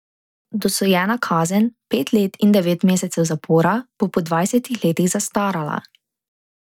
Dosojena kazen, pet let in devet mesecev zapora, bo po dvajsetih letih zastarala.